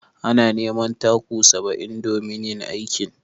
Ana neman taku saba'in domin yin aikin.